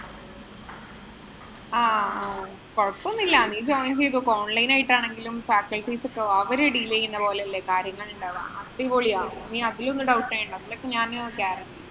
ആഹ് കൊഴപ്പമൊന്നുമില്ല. നീ join ചെയ്തോ. online ആയിട്ടാണെങ്കിലും faculties ഒക്കെ. അവര് deal ചെയ്യുന്ന പോലെയല്ലേ കാര്യങ്ങള്‍ ഉണ്ടാവുക. അടിപൊളിയാ. നീ അധികമൊന്നും doubt ചെയ്യണ്ട. നിനക്ക് ഞാന് guarantee